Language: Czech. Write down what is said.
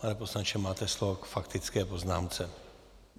Pane poslanče, máte slovo k faktické poznámce.